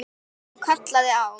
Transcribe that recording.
Hún kallaði á